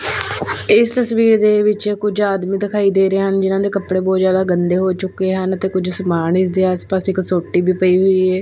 ਇਸ ਤਸਵੀਰ ਦੇ ਵਿੱਚ ਕੁਝ ਆਦਮੀ ਦਿਖਾਈ ਦੇ ਰਹੇ ਹਨ ਜਿਨਾਂ ਦੇ ਕੱਪੜੇ ਬਹੁਤ ਜਿਆਦਾ ਗੰਦੇ ਹੋ ਚੁੱਕੇ ਹਨ ਤੇ ਕੁਝ ਸਮਾਨ ਇਸਦੇ ਆਸ ਪਾਸ ਇੱਕ ਸੋਟੀ ਵੀ ਪਈ ਹੋਈ ਏ।